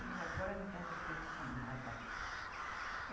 Mas agora não tem respeito com nada.